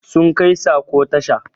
Sun kai sako tasha